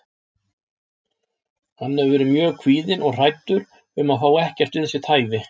Hann hefur verið mjög kvíðinn og hræddur um að fá ekkert við sitt hæfi.